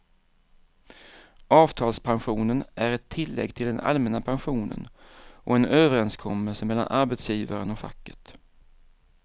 Avtalspensionen är ett tillägg till den allmänna pensionen och en överenskommelse mellan arbetsgivaren och facket.